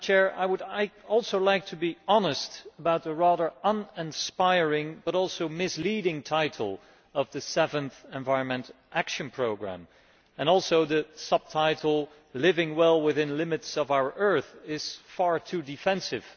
I would also like to be honest about the rather uninspiring and also misleading title of the Seventh Environmental Action Programme, and particularly the subtitle Living well, within the limits of our planet', which is far too defensive.